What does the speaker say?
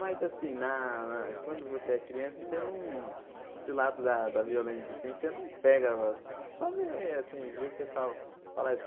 Mas, assim, na na... Quando você é criança, você não... Esse lado da da violência, assim, você não pega, você só vê, assim, vê o pessoal falar.